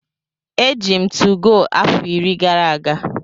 Eji m 2go afọ iri gara aga.